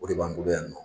O de b'an bolo yan nɔ